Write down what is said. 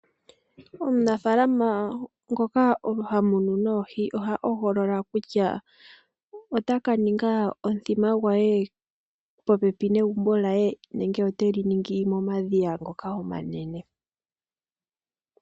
Omunafalama ngoka ha munu oohi oha hogolola kutya ota ka ninga omuthima gwe popepi negumbo lye nenge ote li ningi momadhiya ngoka omanene.